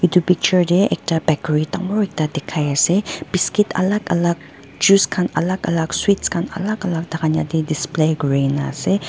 etu picture de ekta bakery dangor ekta dikhai ase biscuit alak alak juice khan alak alak sweets khan alak alak diplay kurina sey.